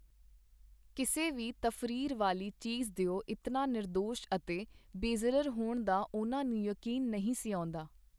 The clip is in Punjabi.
ਕਿਸੇ ਵੀ ਤਫਰੀਹ ਵਾਲੀ ਚੀਜ਼ ਦਿਓ ਇਤਨਾ ਨਿਰਦੋਸ਼ ਅਤੇ ਬੇਜ਼ਰਰ ਹੋਣ ਦਾ ਉਹਨਾਂ ਨੂੰ ਯਕੀਨ ਨਹੀਂ ਸੀ ਆਉਂਦਾ.